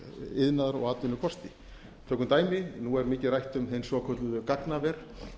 iðnaðar og atvinnukosti tökum dæmi nú er mikið rætt um hin svokölluðu gagnaver